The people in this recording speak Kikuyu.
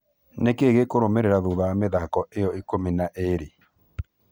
Nikĩĩ gĩkũrũmĩrĩra thutha wa mĩthako ĩyo ikũmi na ĩrĩ?